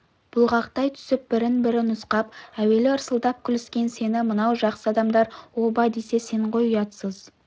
бұлғақтай түсіп бірін-бірі нұсқап әуелі ырсылдап күліскен сені мынау жақсы адамдар оба десе сен ғой ұятсыз